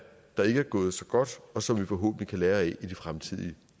der ikke er gået så godt og som vi forhåbentlig kan lære af i de fremtidige